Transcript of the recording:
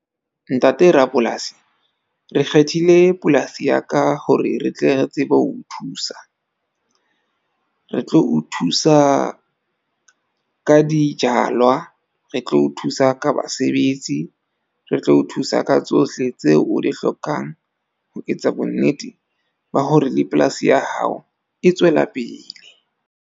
Ntate rapolasi re kgethile polasi ya ka hore re tle re tsebe ho o thusa, re tlo o thusa ka dijalwa. Re tlo o thusa ka basebetsi. Re tlo o thusa ka tsohle tseo o di hlokang ho etsa bonnete ba hore le polasi ya hao e tswela pele.